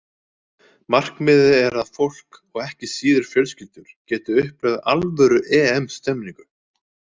Markmiðið er að fólk, og ekki síður fjölskyldur, geti upplifað alvöru EM stemningu.